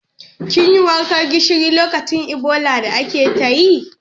Kin yi wankan gishiri lokacin Ebola da ake ta yi?